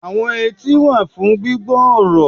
Àwọn etí wà fún gbígbọ́ ọ̀rọ̀